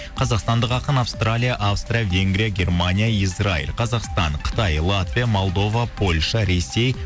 қазақстандық ақын австралия австрия венгрия германия израиль қазақстан қытай латвия молдова польша ресей